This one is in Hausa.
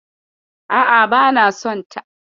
A'a, bana son ta.